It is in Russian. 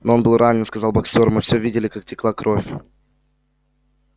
но он был ранен сказал боксёр мы все видели как текла кровь